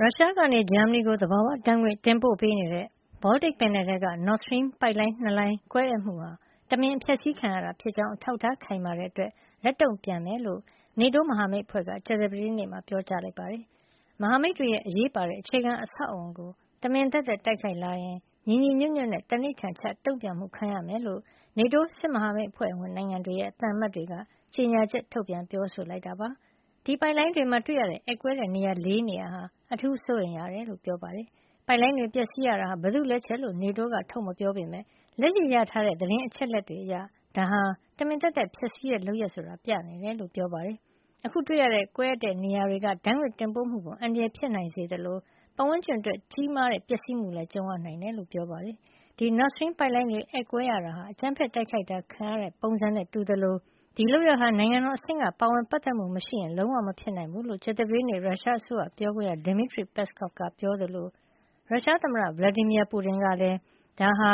ရုရှားကနေ ဂျာမနီကို သဘာဝဓါတ်ငွေ့ပို့ပေးနေတဲ့ Baltic ပင်လယ်ထဲက Nord Stream ပိုက်လိုင်း ၂ လိုင်း ကွဲအက်မှုဟာ တမင်အဖျက်ဆီးခံရတာ ဖြစ်ကြောင်း အထောက်ထားခိုင်မာတဲ့အတွက် လက်တုန့်ပြန်မှာ ဖြစ်ကြောင်း NATO မဟာမိတ်အဖွဲ့က ကြာသပတေးနေ့မှာ ပြောပါတယ်။ မဟာမိတ်တွေရဲ့ အရေးပါတဲ့ အခြေခံအဆောက်အအုံကို တမင်သက်သက် တိုက်ခိုက်လာရင် ညီညီညွတ်ညွတ်နဲ့ သံန္နိဋ္ဌာန်ချ တုန့်ပြန်မှုကို ခံရမှာ ဖြစ်ကြောင်း NATO စစ်မဟာမိတ်အဖွဲ့ဝင်နိုင်ငံတွေရဲ့ သံအမတ်တွေက ကြေညာချက်ထုတ်ပြန် ပြောဆိုပါတယ်။ ဒီပိုက်လိုင်းတွေမှာ တွေ့ရတဲ့ အက်ကွဲတဲ့ နေရာ ၄ နေရာ ဟာ အထူးစိုးရိမ်ရတယ်လို့ ပြောပါတယ်။ ပိုက်လိုင်းတွေ ပျက်စီးရတာဟာ ဘယ်သူ့လက်ချက်လို့ NATO က ထုတ်မပြောပေမယ့် လက်ရှိရထားတဲ့ သတင်းအချက်အလက် တွေအရ ဒါဟာ တမင်သက်သက် ဖျက်ဆီးတဲ့ လုပ်ရပ်ဆိုတာ ပြနေတယ်လို့ ပြောပါတယ်။ အခုတွေ့ရတဲ့ ကွဲအက်နေတဲ့ နေရာတွေက ဓါတ်ငွေ့တင်ပို့မှုကို အန္တရာယ် ဖြစ်စေနိုင်သလို ပတ်ဝန်းကျင်အတွက် ကြီးမားတဲ့ ပျက်စီးမှုနဲ့ လည်းကြုံရနိုင်တယ်လို့ ပြောပါတယ်။ ဒီ Nord Stream ပိုက်လိုင်းတွေ အက်ကွဲရတာဟာ အကြမ်းဖက်အတိုက်ခိုက်ခံရတဲ့ ပုံစံနဲ့တူသလို ဒီလုပ်ရပ်ဟာ နိုင်ငံတော်အဆင့်က ပါဝင်ပတ်သက်မှု မရှိရင် လုံးဝမဖြစ်နိုင်ဘူးလို့ ကြာသပတေးနေ့မှာ ရုရှားအစိုးရ ပြောခွင့်ရ Demitry Peskov က ပြောသလို ရုရှားသမ္မတ Vladimir Putin ကလည်း ဒါဟာ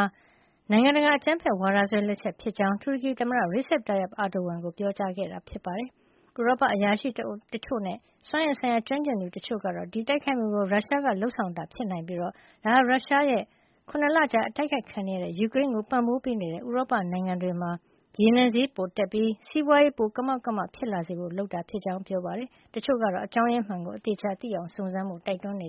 နိုင်ငံတကာအကြမ်းဖက်ဝါဒစွဲ လက်ချက်ဖြစ်ကြောင်း တူရကီသမ္မတ Recep Tayyip Erdogan ကို ပြောကြားခဲ့တာပါ။ ဥရောပအရာရှိတချို့နဲ့ စွမ်းအင်ဆိုင်ရာ ကျွမ်းကျင်သူတချို့ ကတော့ ဒီတိုက်ခိုက်မှုကို ရုရှားက လုပ်ဆောင်တာ ဖြစ်နိုင်ပြီး ဒါဟာ ရုရှားရဲ့ ၇ လကြာ အတိုက်ခိုက်ခံနေရတဲ့ ယူကရိန်းကို ပံ့ပိုးပေးနေတဲ့ ဥရောပနိုင်ငံတွေမှာ ရေနံဈေးပိုတက်ပြီး စီးပွါးရေး ပိုပြီး ကမောက်ကမ ဖြစ်လာစေဖို့ လုပ်တာ ဖြစ်ကြောင်း ပြောပါတယ်။ တချို့ကတော့ အကြောင်းရင်းမှန်ကို အသေချာ သိအောင် စုံစမ်းဖို့ တိုက်တွန်းကြ